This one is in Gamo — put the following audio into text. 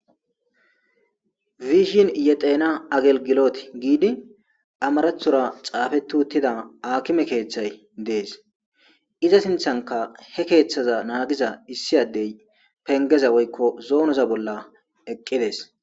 biishin yexena agelgiloti giidi amarethora xaafeti uttida akime keeththay dees iza sinthanka he keeththaza naagiza issi addey pengeza woykko zoonoza bolla eqqides